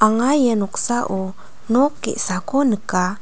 anga ia noksao nok ge·sako nika.